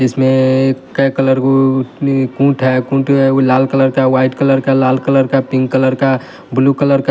इसमें कुंट है कुंट जो है वो लाल कलर का व्हाइट कलर का लाल कलर का पिंक कलर का ब्लू कलर का।